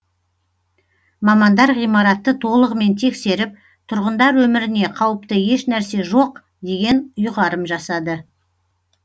мамандар ғимаратты толығымен тексеріп тұрғындар өміріне қауіпті еш нәрсе жоқ деген ұйғарым жасады